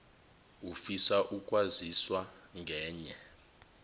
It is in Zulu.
ufisa ukwaziswa ngenye